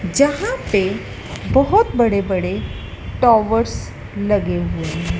जहाँ पे बहोत बड़े बड़े टॉवर्स लगे हुए हैं।